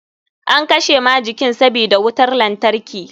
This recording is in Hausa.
An kashe majikin sabida wutar lantarki.